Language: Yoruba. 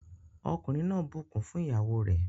Ọkùnrin náà bukún fún ìyàwó re.